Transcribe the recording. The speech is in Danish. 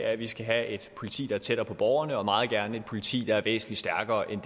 at vi skal have et politi der er tættere på borgerne og meget gerne et politi der er væsentlig stærkere end